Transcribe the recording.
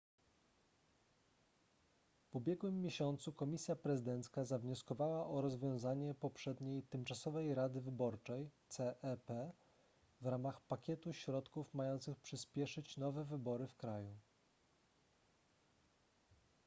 w ubiegłym miesiącu komisja prezydencka zawnioskowała o rozwiązanie poprzedniej tymczasowej rady wyborczej cep w ramach pakietu środków mających przyspieszyć nowe wybory w kraju